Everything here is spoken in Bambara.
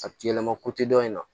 A yɛlɛma dɔ in na